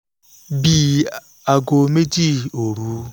bì aago méjì ààbọ̀ òru